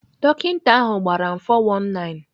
Dọkịta ahụ gbara m 419.